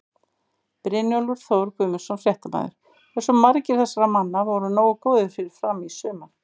Brynjólfur Þór Guðmundsson, fréttamaður: Hversu margir þessara manna voru nógu góðir fyrir Fram í sumar?